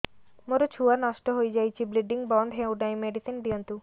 ମୋର ଛୁଆ ନଷ୍ଟ ହୋଇଯାଇଛି ବ୍ଲିଡ଼ିଙ୍ଗ ବନ୍ଦ ହଉନାହିଁ ମେଡିସିନ ଦିଅନ୍ତୁ